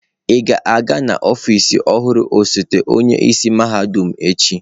Ị ga-aga n'ọfịs ọhụrụ osote onye isi mahadum echi?